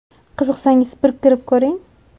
Qiziqsangiz, bir kirib ko‘ring!